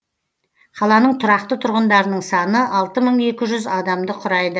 қаланың тұрақты тұрғындарының саны алты мың екі жүз адамды құрайды